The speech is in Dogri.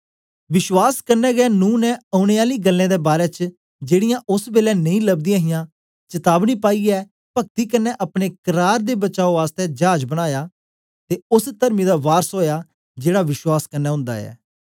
विश्वास कन्ने गै नूह ने ओनें आली गल्लें दे बारै च जेड़ीयां ओस बेलै नेई लबदियां हियां चतावनी पाईयै पक्ति कन्ने अपने कराने दे बचाओ आसतै जाज बनाया ते ओस तरमी दा वारस ओया जेड़ा विश्वास कन्ने ओंदा ऐ